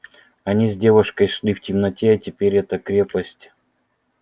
они с девушкой шли в темноте а теперь эта крепость